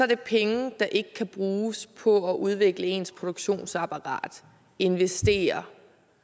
det penge der ikke kan bruges på at udvikle ens produktionsapparat investere